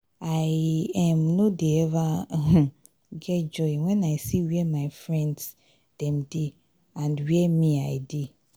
i um no dey eva um get joy when i see where my friends dem dey and where me i dey.